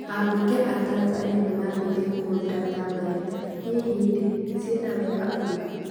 Abunge a Tanzania nimanjitie kũhũthira Tablet, hihi ri ciena wega ũrikũ?